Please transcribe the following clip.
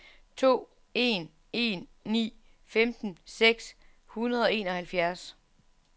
to en en ni femten seks hundrede og enoghalvfjerds